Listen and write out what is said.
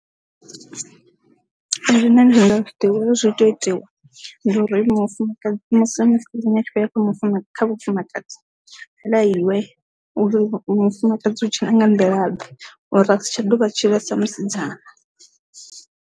Nṋe ndi ndo ḓi uri zwi ita itiwa ndi uri mufumakadzi mufu, ha khou mufuna kha vhufumakadzi ni lafhiwe uri mufumakadzi hutshe na nga nḓila ḓe uri a si tsha ḓovha tshi ḽa sa musidzana.